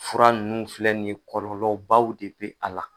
Fura ninnu filɛ nin ye kɔlɔlɔbaw de bɛ a la.